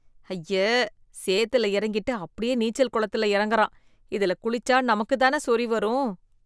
ஐயே, சேத்துல இறங்கிட்டு அப்படியே நீச்சல் குளத்தில இறங்குறான் இதுல குளிச்சா நமக்கு தானே சொறி வரும்.